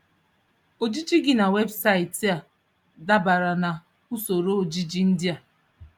Ojiji gị na webụsaịtị a dabere na Usoro ojiji ndị a.